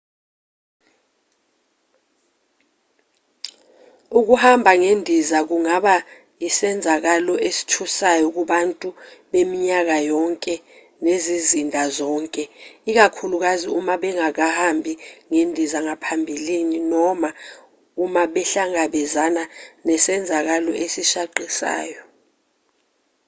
ukuhamba ngendiza kungaba isenzakalo esithusayo kubantu beminyaka yonke nezizinda zonke ikakhulukazi uma bengakahambi ngendiza ngaphambili noma uma behlangabezane nesenzakalo esishaqisayo